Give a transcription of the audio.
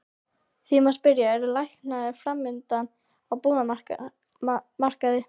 Því má spyrja, eru lækkanir framundan á íbúðamarkaði?